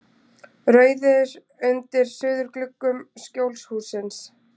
Rauðir undir suðurgluggum Skjólshússins.